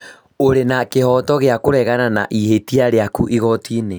ũrĩ na kĩhooto gĩa kũregana na ihĩtia rĩaku igoti-inĩ